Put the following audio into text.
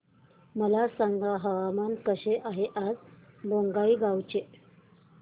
मला सांगा हवामान कसे आहे आज बोंगाईगांव चे